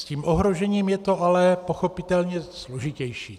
S tím ohrožením je to ale pochopitelně složitější.